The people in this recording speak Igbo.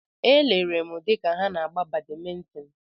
Elere m ha dịka ha na-agba badmintin.